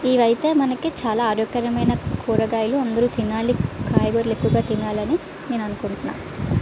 ఇవి అయితే మనకి చాల ఆరోగ్యకరమైన కూరగాయలు అందరు తినాలి కాయగూరలు ఎక్కువ తినాలి అని నేను అనుకుంటున్న --